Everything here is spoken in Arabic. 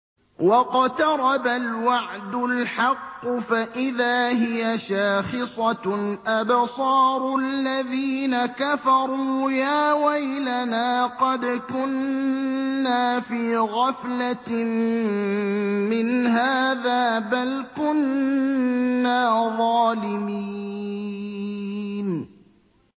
وَاقْتَرَبَ الْوَعْدُ الْحَقُّ فَإِذَا هِيَ شَاخِصَةٌ أَبْصَارُ الَّذِينَ كَفَرُوا يَا وَيْلَنَا قَدْ كُنَّا فِي غَفْلَةٍ مِّنْ هَٰذَا بَلْ كُنَّا ظَالِمِينَ